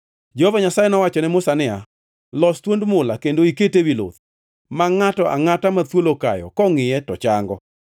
Jehova Nyasaye nowacho ne Musa niya, “Los thuond mula kendo ikete ewi luth; ma ngʼato angʼata ma thuol okayo kongʼiye to chango.”